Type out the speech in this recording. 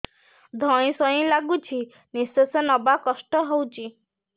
ଧଇଁ ସଇଁ ଲାଗୁଛି ନିଃଶ୍ୱାସ ନବା କଷ୍ଟ ହଉଚି